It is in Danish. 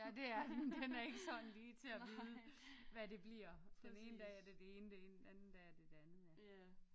Ja det er den den er ikke sådan lige til at vide hvad det bliver den ene dag er det det ene det anden dag er det det andet ja